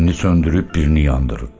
Birini söndürüb, birini yandırır.